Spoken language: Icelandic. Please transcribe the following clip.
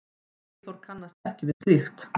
Eyþór kannast ekki við slíkt.